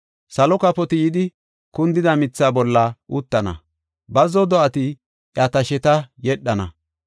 Salo kafoti yidi kundida mithaa bolla uttana; bazzo do7ati iya tasheta yedhana.